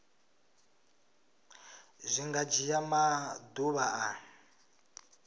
zwi nga dzhia maḓuvha a